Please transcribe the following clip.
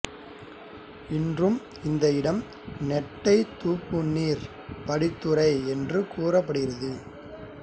இன்றும் இந்த இடம் நெட்டை துபுனிர் படித்துறை என்று கூறப்படுகிறது